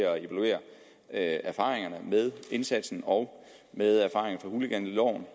at evaluere erfaringerne med indsatsen og med hooliganloven